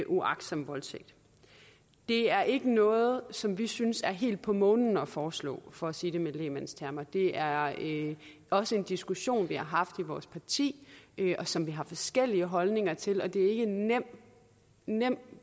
uagtsom voldtægt det er ikke noget som vi synes er helt på månen at foreslå for at sige det med lægmandstermer det er også en diskussion vi har haft i vores parti og som vi har forskellige holdninger til og det er ikke en nem nem